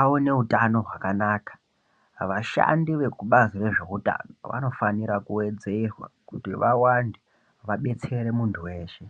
awane hutsno gwakanaka, vashandi vekubhazi rezvehutano vanofanira kuwedzerwa kuti vawande, vadetsere muntu weshe.